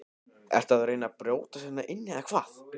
Ertu að reyna að brjótast hérna inn eða hvað!